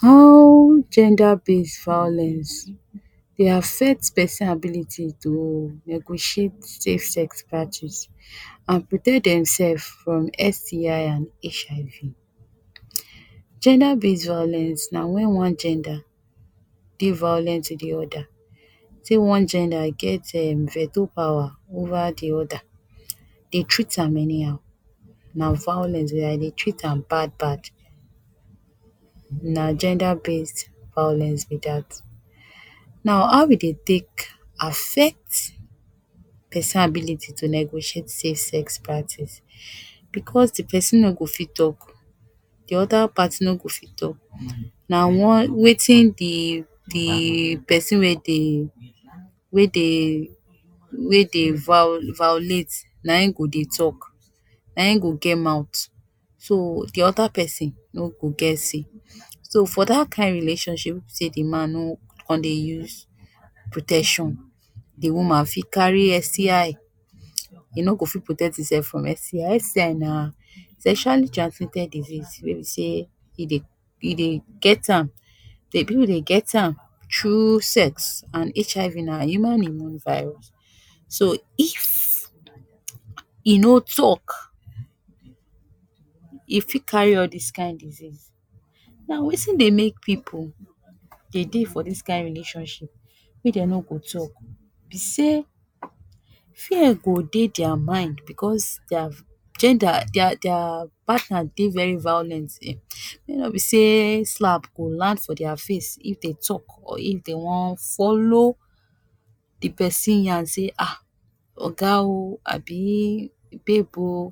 How gender based violence dey affect pesin ability to negotiate safe sex practice and protect dem sef from STI and HIV. Gender based violence na wen one gender dey violent to di other. Sey one gender get um veto power over di oda, dey treat am any how, na violence be. E dey treat am bad bad. Na gender based violence be dat. Now how e dey take affect pesin ability tu negotiate safe sex practice. bcos di pesin no go fit talk. di oda party no go fit talk. Na one wetin di di pesin wey dey wey dey wey dey vio violate, na im go dey talk, na im go get mouth. So di oda pesin no go get say. So for dat kain relationship wey be sey de man no come dey use protection, de woman fit carry STI. E no go fit protect im sef from STI. STI na sexually transmitted disease wey be sey e dey e dey get am de pipu dey get am through sex, and HIV na human immune virus. So if e no talk, e fit carry all dis kain disease. Now wetin dey make pipu dey dey for dis kain relationship wey dey no go talk be sey fear go dey dia mind because dia gender dia dia partner dey very violent. Make no be sey slap go land for dia face if dey talk or if dey wan follow di pesin yan say um oga o abi babe o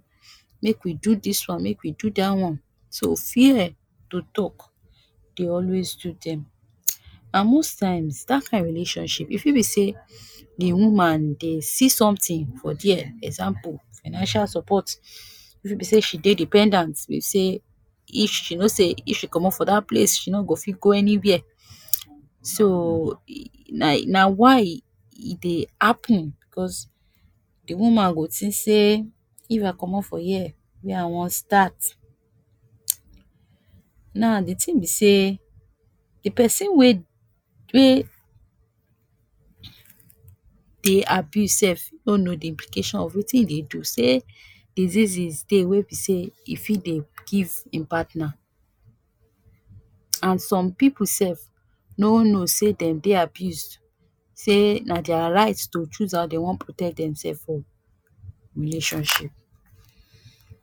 make we do dis one, make we do dat one, so fear to talk dey always do dem. And most times, dat kain relationship e fit be sey di woman dey see sometin for dia. Example, financial support. E fit be sey she dey dependent, wey sey she know sey if she komot for dat place, she no go fit go anywhere. So um na na why e dey happen, cause de woman go tink sey if I komot for here, where I wan start. Now di tin be sey de pesin wey wey dey abuse sef no know de implication of wetin im dey do, sey diseases dey wey be sey e fit dey give im partner. And some pipu sef no know sey dem dey abused, sey na dia right to choose how den wan protect dem sef for relationship.